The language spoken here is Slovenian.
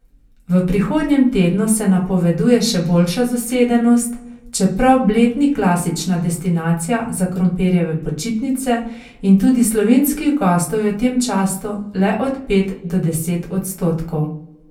V prihodnjem tednu se napoveduje še boljša zasedenost, čeprav Bled ni klasična destinacija za krompirjeve počitnice in tudi slovenskih gostov je v tem času le od pet do deset odstotkov.